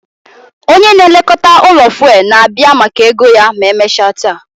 Onye na-elekọta ụlọ fuelu na-abịa maka ego ya ma emechaa taa